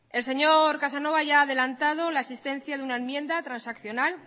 el señor casanova ya ha adelantado la existencia de una enmienda transaccional